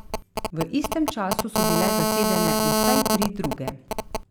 V istem času so bile zasedene vsaj tri druge.